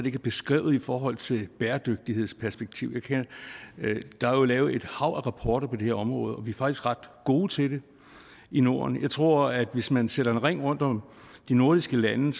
ikke er beskrevet i forhold til bæredygtighedsperspektivet der er jo lavet et hav af rapporter på det her område og vi er faktisk ret gode til det i norden jeg tror at hvis man sætter en ring rundt om de nordiske lande